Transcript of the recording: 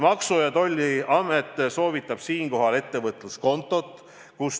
Maksu- ja Tolliamet soovitab siinkohal ettevõtluskontot.